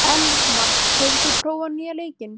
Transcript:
Elma, hefur þú prófað nýja leikinn?